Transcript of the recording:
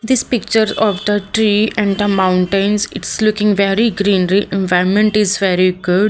This pictures of the tree and the mountains it's looking very greenery environment is very good.